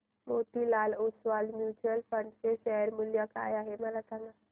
Motilal Oswal mutual fund चे share मूल्य काय आहे सांगा